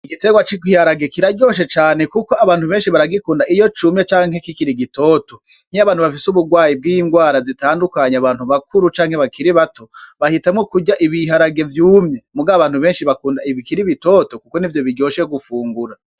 Igiterwa c'igiharage abantu beshi baragikunda iyo cumye canke kikiri gitoto nkiya bantu bafise uburwayi bwi ngwara zitandukanye abantu bakuru canke bakiri bato bahitamwo kurya ibiharage vyumye mugabo abantu beshi bakunda ibikiri bitoto kuko nivyo biryoshe gufungura.